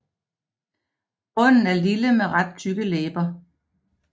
Munden er lille med ret tykke læber